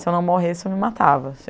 Se eu não morresse, eu me matava.